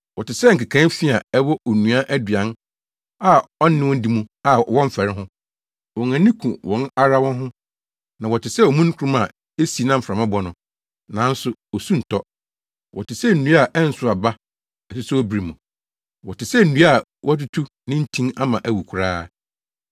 Wɔte sɛ nkekae fi a ɛwɔ onua aduan a ɔne wo di mu a wɔmfɛre ho. Wɔn ani ku wɔn ara wɔn ho. Na wɔte sɛ omununkum a esi na mframa bɔ no, nanso osu ntɔ. Wɔte sɛ nnua a ɛnsow aba asusowbere mu. Wɔte sɛ nnua a wɔatutu ne ntin ama awu koraa.